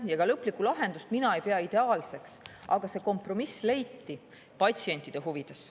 Ja lõplikku lahendust mina ei pea ideaalseks, aga see kompromiss leiti patsientide huvides.